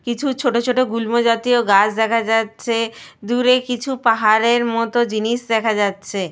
কিছু ছোট ছোট গুল্ম জাতীয় গাছ দেখা যাচ্ছে। দূরে কিছু পাহাড়ের মত জিনিস দেখা যাচ্ছে।